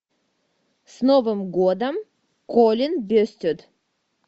с новым годом колин бестед